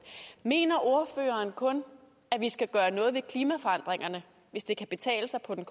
mener ordføreren kun at vi skal gøre noget ved klimaforandringerne hvis det kan betale sig på den